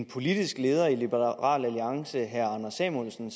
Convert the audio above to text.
politiske leder i liberal alliance herre anders samuelsen